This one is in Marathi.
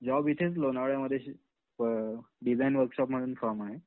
जॉब इथेच लोणावळ्यामध्ये डिजाइन वर्कशॉप म्हणून फ़र्म आहे